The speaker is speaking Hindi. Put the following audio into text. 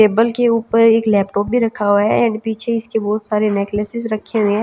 टेबल के ऊपर एक लैपटॉप भी रखा हुआ है एंड पीछे इसके बहुत सारे नेकलेसेस रखे हुए--